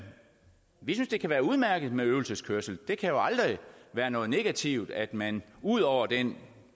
vi synes det kan være udmærket med øvelseskørsel det kan jo aldrig være noget negativt at man ud over den